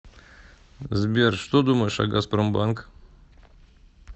сбер что думаешь о газпромбанк